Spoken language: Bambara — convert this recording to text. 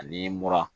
Ani mura